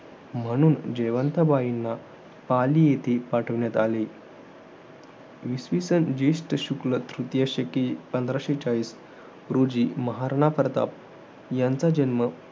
म्हणून, जयवंथा बाईंना पाली येथे पाठवले. इसवि सन, जेष्ठ शुक्ल तृतीय शके. पंधराशे चाळीस रोजी, महाराणा प्रताप यांचा जन्म